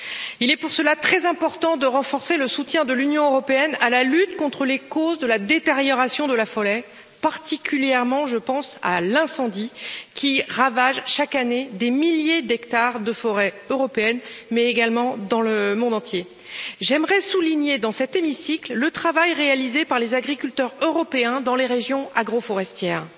Il est pour cela très important de renforcer le soutien de l'Union européenne à la lutte contre les causes de la détérioration de la forêt. Je pense plus particulièrement aux incendies, qui ravagent chaque année des milliers d'hectares de forêts en Europe et dans le monde. J'aimerais souligner dans cet hémicycle le travail réalisé par les agriculteurs européens dans les régions agro forestières